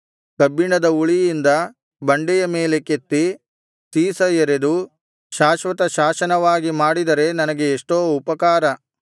ಕಬ್ಬಿಣದ ಉಳಿಯಿಂದ ಬಂಡೆಯ ಮೇಲೆ ಕೆತ್ತಿ ಸೀಸ ಎರೆದು ಶಾಶ್ವತ ಶಾಸನವಾಗಿ ಮಾಡಿದರೆ ನನಗೆ ಎಷ್ಟೋ ಉಪಕಾರ